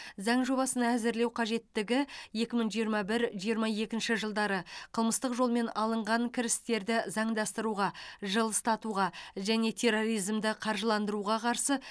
заң жобасын әзірлеу қажеттігі екі мың жиырма бір жиырма екінші жылдары қылмыстық жолмен алынған кірістерді заңдастыруға жылыстатуға және терроризмді қаржыландыруға қарсы